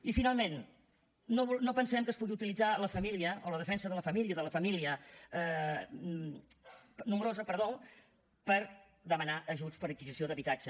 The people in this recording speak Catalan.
i finalment no pensem que es pugui utilitzar la família o la defensa de la família nombrosa per demanar ajuts per a adquisició d’habitatge